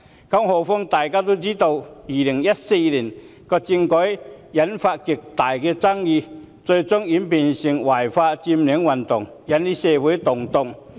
更何況，大家都知道2014年政改諮詢引發極大爭議，最終演變成違法佔領運動，引起社會動盪。